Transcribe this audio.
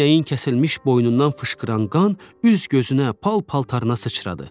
İnəyin kəsilmiş boynundan fışqıran qan üz-gözünə, pal-paltarına sıçradı.